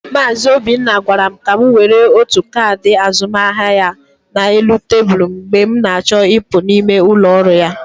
Mazị Obinna gwara m ka m were otu kaadị azụmaahịa ya na elu tebụl mgbe m na-achọ ịpụ n'ime ụlọ ọrụ ya.